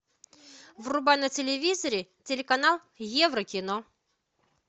врубай на телевизоре телеканал еврокино